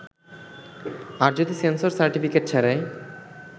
আর যদি censor certificate ছাড়াই